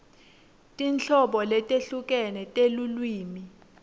tinhlobo letehlukene telulwimi